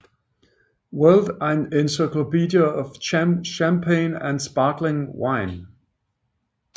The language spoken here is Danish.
World encyclopedia of Champagne and Sparkling Wine